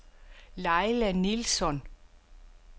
Laila Nilsson